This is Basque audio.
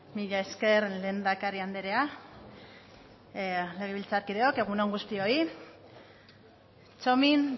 mila esker lehendakari andrea legebiltzarkideok egun on guztioi txomin